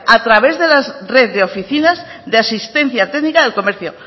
a través de las redes de oficinas de asistencia técnica del comercio